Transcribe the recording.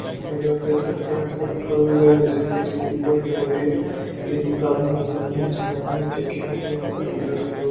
जैसा कि आप देख सकते है। यहाँ पर एक फोर व्हीलर है। जो की इसको रिपेयर कर रही है। यह दूकान बहुत ही बड़ी दूकान है। जो कि यह पर फोर व्हीलर को--